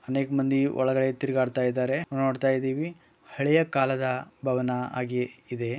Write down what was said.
ಅನೇಕ ಮಂದಿ ಒಳಗಡೆ ತಿರ್ಗಾಡತಾಯಿದ್ದರೆ ನಾವು ಇಲ್ಲಿ ನೋಡ್ತಾ ಇದ್ದೀವಿ ಹಳೆಯ ಕಾಲದ ಭವನ ಆಗಿ ಇದೆ.